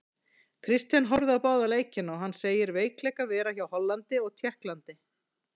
Kristján horfði á báða leikina og hann segir veikleika vera hjá Hollandi og Tékklandi.